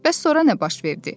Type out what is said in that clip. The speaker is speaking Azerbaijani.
Bəs sonra nə baş verdi?